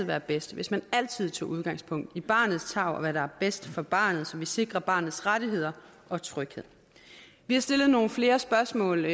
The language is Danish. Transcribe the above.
være bedst hvis man altid tog udgangspunkt i barnets tarv og hvad der er bedst for barnet så vi sikrer barnets rettigheder og tryghed vi har stillet nogle flere spørgsmål